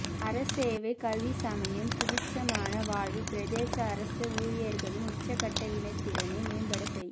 அரசசேவை கல்வி சமயம் சுபீட்சமானவாழ்வு பிரதேசஅரசஊழியர்களின் உச்சகட்டவினைத்திறனைமேம்படசெய்